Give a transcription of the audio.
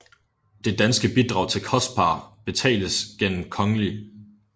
Det danske bidrag til COSPAR betales gennem Kgl